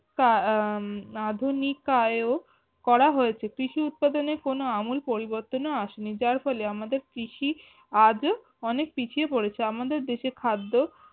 তা আহ আধুনিকায়েও করা হয়েছে কৃষি উৎপাদনে কোনো আমল পরিবর্তন আসেনি যার ফলে আমাদের কৃষি আজও অনেক পিঁছিয়ে পড়েছে আমাদের দেশে খাদ্য